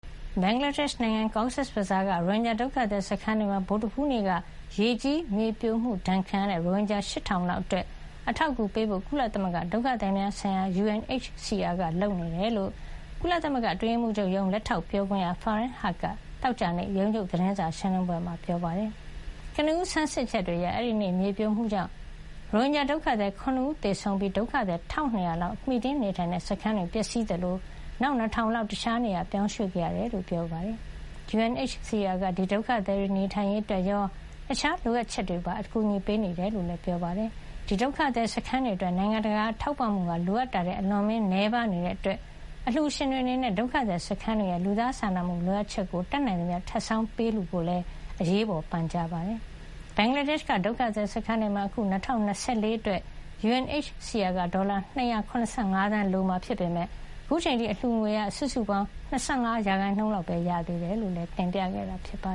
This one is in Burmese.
ဘင်္ဂလားဒေ့ရှ် နိုင်ငံ Cox’s Bazar က ရိုဟင်ဂျာဒုက္ခသည် စခန်းတွေမှာ ဗုဒ္ဓဟူးနေ့က ရေကြီးမြေပြိုမှုဒဏ် ခံခဲ့ရတဲ့ ရိုဟင်ဂျာ ၈,၀၀၀ လောက်အတွက် အထောက်အကူပေးဖို့ ကုလသမဂ္ဂ ဒုက္ခသည်များဆိုင်ရာရုံး UNHCR က လုပ်ဆောင်နေကြောင်း ကုလ အတွင်းရေးမှုးချုပ်ရုံး လက်ထောက်ပြောခွင့်ရ Farhan Haq က သောကြာနေ့ ရုံးချုပ် သတင်းစာရှင်းလင်းပွဲမှာ ပြောပါတယ်။ ကနဦး ဆန်းစစ်ချက်တွေအရ အဲဒီနေ့ မြေပြိုမှုကြောင့် ရိုဟင်ဂျာဒုက္ခသည် ၇ ဦး သေဆုံးခဲ့ရပြီး ဒုက္ခသည် ၁,၂၀၀ လောက် မှီတင်းနေထိုင်တဲ့ စခန်းတွေ ပျက်စီးသွားသလို နောက်ထပ် ၂,၀၀၀ လောက် တခြားနေရာကို ပြောင်းရွှေ့ခဲ့ရတယ်လို့လည်း ပြောပါတယ်။ UNHCR က ဒီဒုက္ခသည်တွေ နေထိုင်ရေးအတွက်ရော တခြား လိုအပ်တာတွေကိုပါ အကူအညီ ပေးနေတယ်လို့ ပြောပါတယ်။ ဘင်္ဂလားဒေ့ရှ်က ဒီဒုက္ခသည် စခန်းတွေအတွက် နိုင်ငံတကာ ထောက်ပံ့မှုဟာ လိုအပ်တာထက် အလွန်အမင်း နည်းပါးနေတာကြောင့် အလှူရှင်တွေ အနေနဲ့ ဒုက္ခသည်စခန်းတွေရဲ့ လူသားစာနာမှု လိုအပ်ချက်တွေအတွက် တတ်နိုင်သမျှ ထပ်ဆောင်းပြီး ပေးလှူကြဖို့လည်း အရေးပေါ် ပန်ကြားခဲ့ပါတယ်။ ဘင်္ဂလားဒေ့ရှ်က ဒုက္ခသည်စခန်းတွေမှာ အခု ၂၀၂၄ ခုနှစ်အတွက် UNHCR က ဒေါ်လာ ၂၇၅ သန်း လိုအပ်မှာ ဖြစ်ပေမယ့် အခုချိန်အထိ အလှူငွေ စုစုပေါင်း ၂၅ % လောက်ပဲ ရသေးတယ်လို့လည်း တင်ပြခဲ့တာပါ